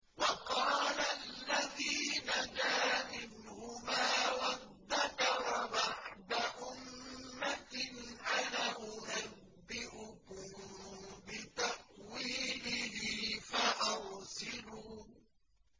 وَقَالَ الَّذِي نَجَا مِنْهُمَا وَادَّكَرَ بَعْدَ أُمَّةٍ أَنَا أُنَبِّئُكُم بِتَأْوِيلِهِ فَأَرْسِلُونِ